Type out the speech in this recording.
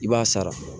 I b'a sara